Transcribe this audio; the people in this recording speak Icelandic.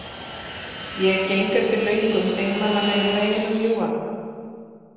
Ég geng eftir löngum, einmanalegum veginum, ljúfan.